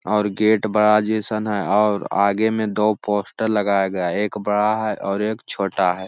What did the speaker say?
और गेट बड़ा जैसन है और आगे मे दो पोस्टर लगाया गया है एक बड़ा है और एक छोटा है।